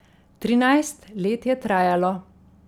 Trinajst let je trajalo.